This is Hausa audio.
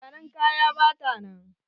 Mai zanen kaya bata nan.